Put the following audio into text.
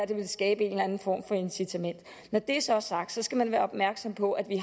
det ville skabe en eller anden form for incitament når det så er sagt skal man være opmærksom på at vi